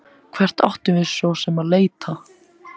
Hvert áttum við svo sem að leita?